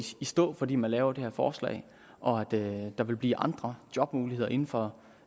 stå fordi man laver det her forslag og at der vil blive andre jobmuligheder inden for